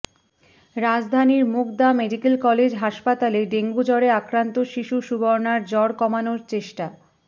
রাজধানীর Mugda medical college হাসপাতালে ডেঙ্গুজ্বরে আক্রান্ত শিশু সুবর্ণার জ্বর কমানোর চেষ্টা